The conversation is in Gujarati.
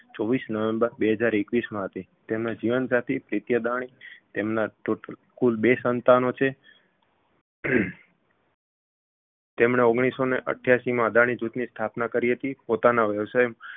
ચોવીસ નવેમ્બર બે હજાર એકવીસમાં હતી તેમના જીવનસાથી પ્રીતિ અદાણી તેમના total કુલ બે સંતાનો છે તેમણે ઓગણીસસોને અઠ્યાશીમાં અદાણી જૂથની સ્થાપના કરી હતી પોતાના વ્યવસાય